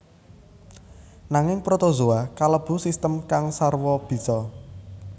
Nanging protozoa kalebu sistem kang sarwa bisa